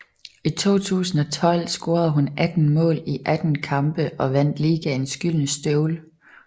I 2012 scorede hun 18 mål i 18 kampe og vandt ligaens Gyldne Støvle